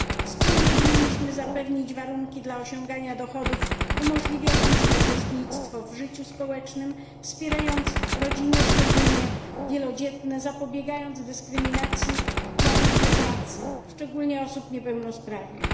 Wspólnie winniśmy zapewnić warunki dla osiągania dochodów umożliwiających uczestnictwo w życiu społecznym, wspierając rodziny, szczególnie wielodzietne, zapobiegając dyskryminacji na rynku pracy, szczególnie osób niepełnosprawnych.